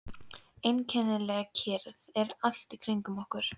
Einkennileg kyrrð er allt í kringum okkur.